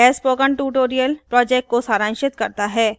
यह spoken tutorial project को सारांशित करता है